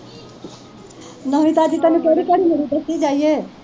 ਨਵੀਂ ਤਾਜ਼ੀ ਤੈਨੂੰ ਕਿਹੜੀ ਘੜੀ ਮੁੜੀ ਦੱਸੀ ਜਾਈਏ।